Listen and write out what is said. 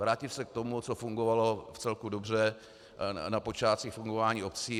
Vrátit se k tomu, co fungovalo vcelku dobře na počátcích fungování obcí.